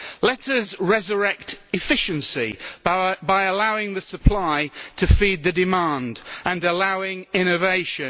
Let us resurrect efficiency by allowing the supply to feed the demand and allowing innovation.